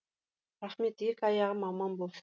рахмет екі аяғым аман болшы